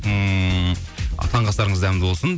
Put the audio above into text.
ммм таңғы астарыңыз дәмді болсын